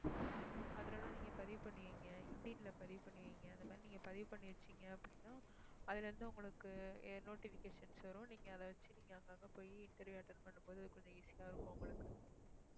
அதுல எல்லாம் நீங்க பதிவு பண்ணி வைங்க linkedin ல பதிவு பண்ணி வைங்க அந்த மாதிரி நீங்க பதிவு பண்ணி வச்சீங்க அப்படின்னா அதுல இருந்து உங்களுக்கு எ~ notifications வரும். நீங்க அதை வச்சு நீங்க அங்க அங்க போயி interview attend பண்ணும் போது கொஞ்சம் easy ஆ இருக்கும் உங்களுக்கு.